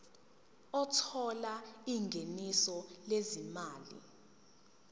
othola ingeniso lezimali